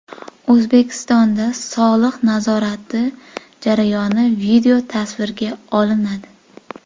O‘zbekistonda soliq nazorati jarayoni videotasvirga olinadi.